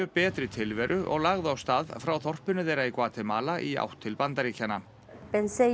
betri tilveru og lagði af stað frá þorpinu þeirra í Gvatemala í átt til Bandaríkjanna